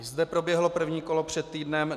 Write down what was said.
I zde proběhlo první kolo před týdnem.